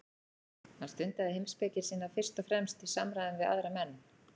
Hann stundaði heimspeki sína fyrst og fremst í samræðum við aðra menn.